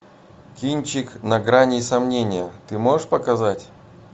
кинчик на грани сомнения ты можешь показать